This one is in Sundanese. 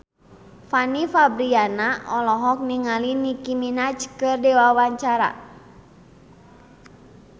Fanny Fabriana olohok ningali Nicky Minaj keur diwawancara